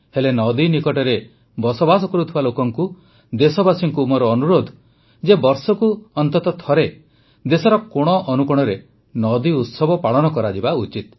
ହେଲେ ନଦୀ ନିକଟରେ ବସବାସ କରୁଥିବା ଲୋକଙ୍କୁ ଦେଶବାସୀଙ୍କୁ ମୋର ଅନୁରୋଧ ଯେ ବର୍ଷକୁ ଥରେ ଦେଶର କୋଣ ଅନୁକୋଣରେ ନଦୀ ଉତ୍ସବ ପାଳନ କରାଯିବା ଉଚିତ